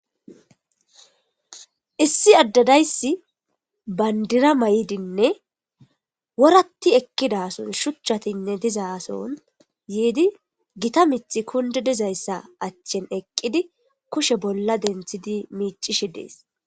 Issi adde dayissi kushen bandira oyqidi woratti ekidasson gitta miththi kundidi dizasson kushshe salo denththidi detes